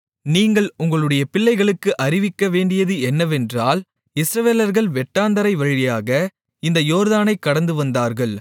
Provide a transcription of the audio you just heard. நீங்கள் உங்களுடைய பிள்ளைகளுக்கு அறிவிக்கவேண்டியது என்னவென்றால் இஸ்ரவேலர்கள் வெட்டாந்தரை வழியாக இந்த யோர்தானைக் கடந்துவந்தார்கள்